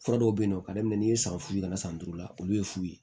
Fura dɔw bɛ yen nɔ ka daminɛ n'i ye san fu ye ka na san duuru la olu ye fu ye